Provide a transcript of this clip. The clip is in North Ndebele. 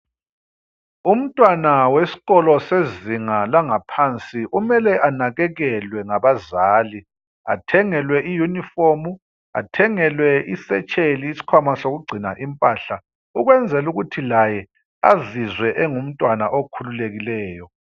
Umntwana weskolo sezinga langaphansi umele anakekelwe ngabazali, athengelwe iYunifomu, athengelwe iSetsheli isikhwama sokugcina impahla ukwenzelukuthi laye azizwe engumntwana okhululekileyo.